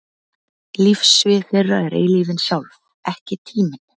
Lífssvið þeirra er eilífðin sjálf, ekki tíminn.